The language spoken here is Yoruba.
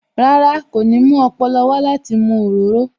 Rárá, kò ní mú ọpọlọ wá láti mu òróró